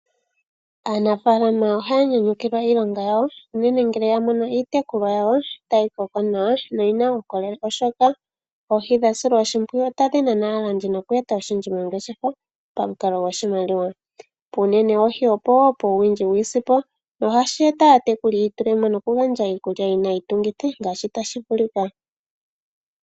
Aanafalama ohaya nyanyukilwa iilonga yawo unene ngele yamono iitekulwa namwenyo yawo tayi koko nawa noyina uukolele oshoka oohi tadhi silwa oshimpwiyu otadhi nana aalandi noku eta oshindji mongeshefa unenepamukalo gwoshimali. Puunene wohi opo ngaa puuwindji wiisimpo nohashi etitha aatekuli yiitulemo nokugandja iikulya yina iitungithi ngaashi tashi vulika.